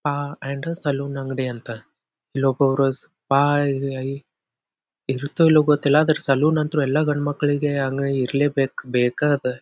Ah and salon ಅಂಗಡಿ ಅಂತ ಲೊ ಪೌರೋಸ್ ಇರುತ್ತಹೋ ಇಲ್ವೋ ಗೊತ್ತಿಲ್ಲ ಆದ್ರೆ ಸೆಲೂನ್ ಅಂತೂ ಎಲ್ಲ ಗಂಡ ಮಕ್ಕಳಿಗೆ ಇರ್ಲೇ ಬೇಕ್ ಬೇಕಾ ಅದ.